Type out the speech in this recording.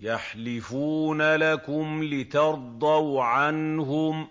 يَحْلِفُونَ لَكُمْ لِتَرْضَوْا عَنْهُمْ ۖ